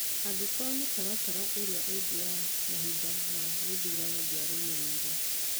Angĩkorũo mĩtaratara ĩrĩa ĩngĩ ya mahinda ma gĩthurano ndĩarũmĩrĩirũo.